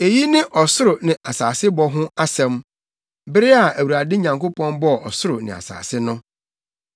Eyi ne ɔsoro ne asasebɔ ho asɛm. Bere a Awurade Nyankopɔn bɔɔ ɔsoro ne asase no.